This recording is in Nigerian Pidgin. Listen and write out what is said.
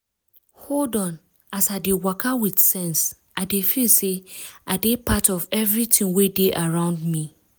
hold on as i dey waka with sense i dey feel say i dey part of everything wey dey around me.